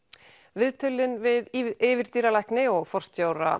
viðtölin við yfirdýralækni og forstjóra